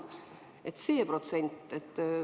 Mis see protsent on?